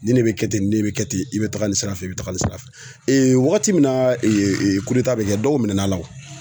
Nin de be kɛ ten nin de be kɛ ten, i be taga nin sira fɛ i be taga nin sira fɛ. wagati min na bɛ kɛ dɔw minɛn'a la o.